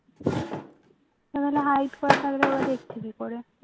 তাহলে hide করা থাকলে ওরা দেখছে কি করে